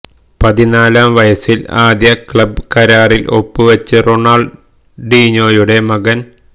പതിനാലാം വയസിൽ ആദ്യ ക്ലബ്ബ് കരാറിൽ ഒപ്പ് വെച്ച് റൊണാള്ഡീഞ്ഞോയുടെ മകന്